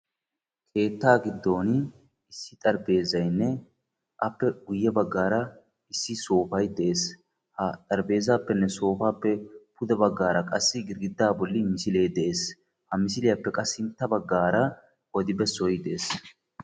Keettaa giddon issi xarapheezzaynne appe guyye baggaara issi soofay de'ees. Ha xaraphphpezappenne soopappenne pude baggaara qassi girggiddaa bolli misile de'ees. Ha misiliyappe qa sintta baggaara odi bessoy de'ees.